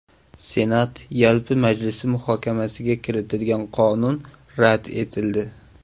Senat yalpi majlisi muhokamasiga kiritilgan qonun rad etildi.